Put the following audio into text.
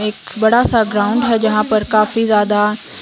एक बड़ा सा ग्राउंड है जहां पर काफी ज्यादा--